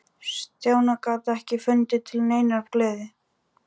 Stjáni gat ekki fundið til neinnar gleði.